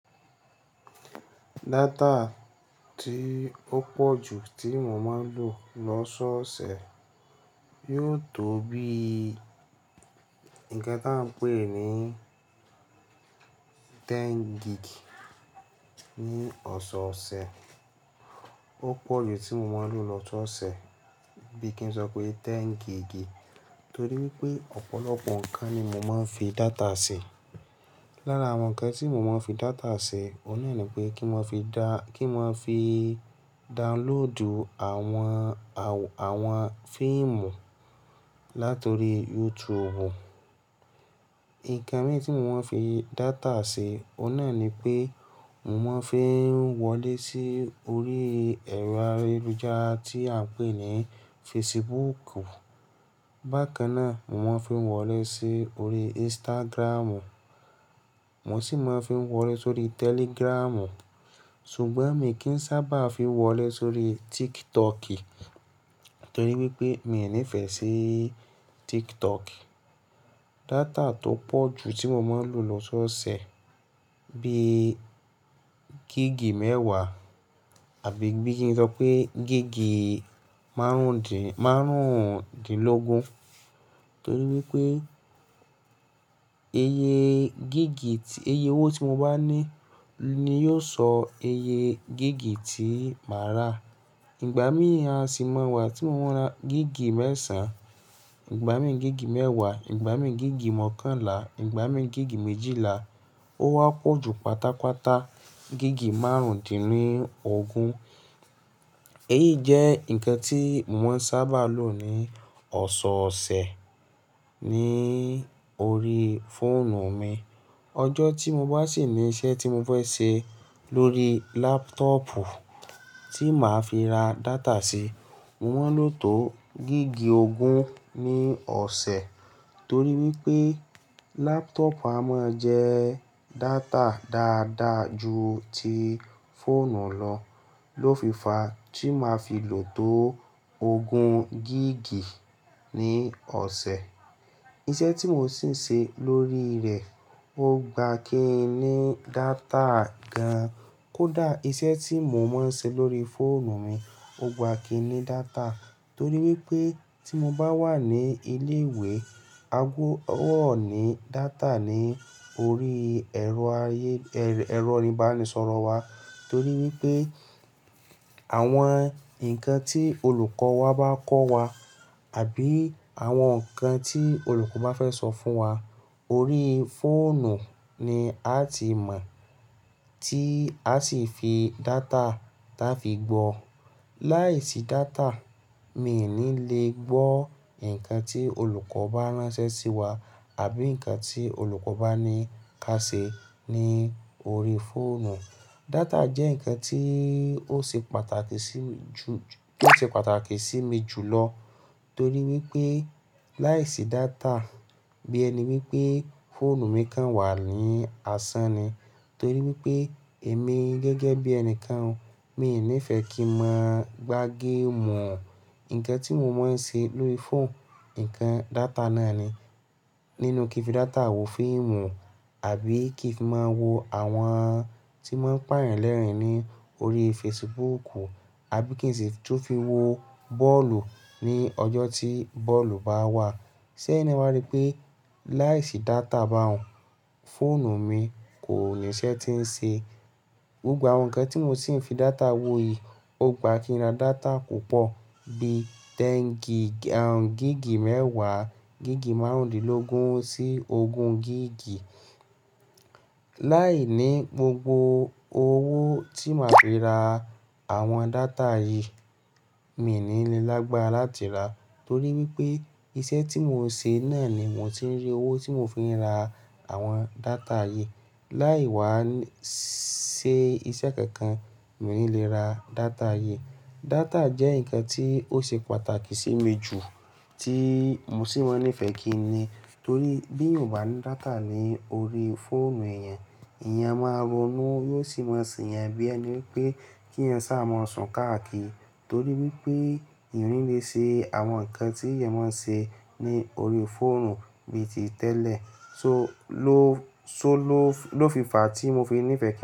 Data tí ó pọ̀ jù tí mo máa ń lò lọ́sọ̀ọ̀sẹ̀ yóò tó bí i nǹkan tí à ń pè ní 10 gig ní ọ̀sọ̀ọ̀sẹ̀. Ó pọ̀ jù tí mo máa ń lò lọ́sọ̀ọ̀sẹ̀ bí kí n sọ pé 10 gig, torí wípé ọ̀pọ̀lọpọ̀ nǹkan ni mo máa ń fi data ṣe. Lára àwọn nǹkan tí mo máa ń fi data ṣe, òun náà ni pé kí n máa fi da- kí n máa fi downloadù àwọn, àwọn fíìmù láti orí YouTube. Nǹkan mí tí mo máa ń fi data ṣe, òun náà ni pé mò ń máa fi wọlé sí orí ẹ̀rọ ayélujára tí a ń pè ní Facebook. Bákan náà, mo máa ń fi wọlé sí orí Instagram. Mo sì máa ń fi wọlé sórí Telegram. Ṣùgbọ́n mí kí ń sábà fi wọlé sórí TikTok torí wípé mi ò nífẹ̀ẹ́ sí TikTok. Data tó pọ̀ jù tí mo máa ń lò lọ́sọ̀ọ̀sẹ̀ bíi gig mẹ́wàá àbí bí kí n sọ pé gig marun márùndínlógún torí wípé iye gig, iye owó tí mo bá ní ni yóò sọ iye gig tí màá rà. Ìgbà mí ì aá sì máa wá tí mo ma ra gig mẹ́sàn-án, ìgbà mí gig mẹ́wàá, ìgbà mí gig mọ́kànlá, ìgbà mí gig méjìlá, ó wá pọ̀ ju pátápátá gig márùndínlógún. Èyí jẹ́ nǹkan tí mò ma ń sábà lò ní ọ̀sọ̀ọ̀sẹ̀ ní orí fóònù mi. Ọjọ́ tí mo bá sì ní iṣẹ́ tí mo fẹ́ ṣe lórí laptop Ti má fii ra data sí mo ma n lo to gig ogun ni ọ̀sẹ̀. Tori wípé laptop a ma jẹ̀ data dada ju ti foonu lọ́. Lófìfà tí màá fi lò tó ogun gig ní ọ̀sẹ̀. Iṣẹ́ tí mò sì ń ṣe lórí rẹ̀ o gbà kí í ní data gan-an. Kódà iṣẹ́ tí mò ma ń ṣe lórí fóònù mi o gbà kí í ní data torí wípé tí mo bá wà ní ilé ìwé, a gbó ogbo dọ́ ní data ní orí ẹ̀rọ ayé- ẹ̀rọ oníbàránisọ̀rọ̀ wa torí wípé àwọn nǹkan tí olùkọ́ wa bá kọ́ wa àbí àwọn nǹkan tí olùkọ́ bá fẹ́ sọ fún wa, orí fóònù ni a ti mọ̀ tí a sì fi data táa fi gbọ́. Láìsí data, mi i ní le gbọ́ nǹkan tí olùkọ́ bá ránṣẹ́ sí wa àbí nǹkan tí olùkọ́ bá ní ká ṣe ní orí fóònù. Data jẹ́ nǹkan tí ó ṣe pàtàkì sí mi ju- tí ó ṣe pàtàkì sí mi jù lọ torí wípé láìsí data bí ẹni wípé fóònù mi kan wà ní asán ni torí wípé èmi gẹ́gẹ́ bí ẹni kan o, mi ò nífẹ̀ẹ́ kí n máa gbá game. Nǹkan tí mo máa ń ṣe lórí fóònù, nǹkan data náà ni. Nínú kí fi data wo fíìmù àbí kí fi máa wo àwọn tí mọ́n ń pà èyán lẹ́rìn ní orí Facebook, àbí kí n sì tún fi wo bọ́ọ̀lù ní ọjọ́ tí bọ́ọ̀lù bá wà. Ṣé ẹyin na wá rí pé láìsí data bá hun, fóònù mi kò ní iṣẹ́ tí ń ṣe? Gbogbo àwọn nǹkan tí mo sì ń fi data wo yìí, o gbà kí í ra data púpọ̀ bí 10 gig, gig mẹ́wàá, gig márùndínlógún sí ogun gig. Láìní gbogbo owó tí màá fi ra àwọn data yìí, mi ò ní le lágbára láti rà torí wípé iṣẹ́ tí mò ń ṣe náà ni mò tí ń rí owó tí mò fi ń ra àwọn data yìí. Láì wá sí iṣẹ́ kankan, mi ò ní le ra data yìí. Data jẹ́ nǹkan tí ó ṣe pàtàkì sí mi jù tí mò sì máa ń nífẹ̀ẹ́ kí ní torí bí èèyàn bá ní data ní orí fóònù èèyàn, èèyàn máa ronú yóò sì máa ṣe ẹ̀yán bí ẹni wipé kí èèyàn sá máa sùn káàkiri torí wípé èyán onílé ṣe àwọn nǹkan tí èèyàn máa ń ṣe ní orí fóònù bíi ti tẹ́lẹ̀. So ló- lófi- lófìfà tí mo fi ń nífẹ̀ẹ́